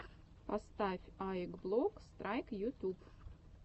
поставь аик блок страйк ютюб